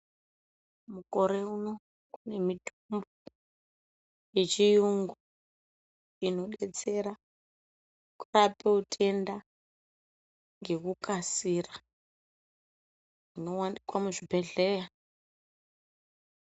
Mukore uno kune mitombo ye chiyungu ino detsera kurape utenda ngeku kasira zvino wanikwa mu zvibhedhleya.